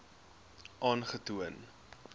aangetoon